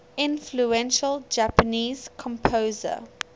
influential japanese composer